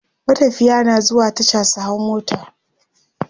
matafiya na zuwa Tasha su hau mota